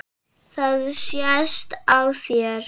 Það sést á þér